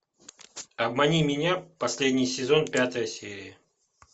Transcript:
обмани меня последний сезон пятая серия